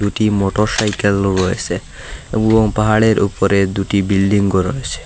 দুটি মোটরসাইকেলও রয়েসে এবং পাহাড়ের ওপরে দুটি বিল্ডিংও রয়েসে।